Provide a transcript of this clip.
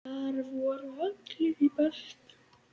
Þar voru allir í beltum.